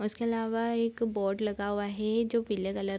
और इसके इलावा एक बोर्ड लगा हुआ है जो पीले कलर --